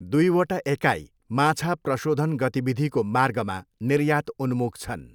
दुईवटा एकाइ माछा प्रशोधन गतिविधिको मार्गमा निर्यात उन्मुख छन्।